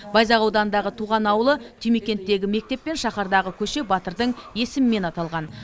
байзақ ауданындағы туған ауылы түймекенттегі мектеп пен шаһардағы көше батырдың есімімен аталған